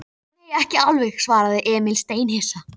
Ég veit að þetta er óafsakanlegt, sagði hún.